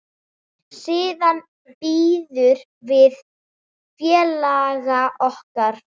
Siðan biðum við félaga okkar.